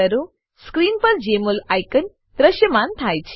screen પર જમોલ icon દ્રશ્યમાન થાય છે